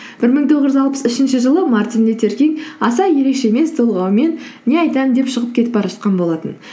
бір мың тоғыз жүз алпыс үшінші жылы мартин лютер кинг аса ерекше емес толғауымен не айтамын деп шығып кетіп бара жатқан болатын